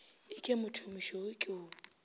e ke mothomošweu ke o